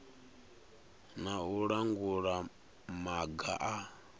na u langula maga a